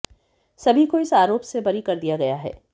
सभी को इस आरोप से बरी कर दिया गया है